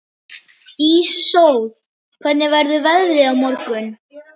Íssól, hvernig verður veðrið á morgun?